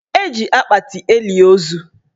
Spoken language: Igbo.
E ji akpati eli ozu.